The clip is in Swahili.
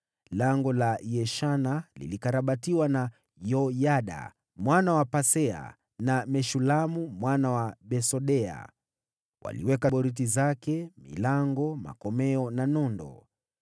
Lango la Yeshana lilikarabatiwa na Yoyada mwana wa Pasea, na Meshulamu mwana wa Besodeya. Waliweka boriti zake, na wakaweka milango, makomeo na nondo.